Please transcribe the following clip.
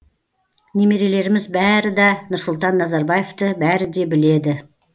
немерелеріміз бәрі да нұрсұлтан назарбаевты бәрі де біледі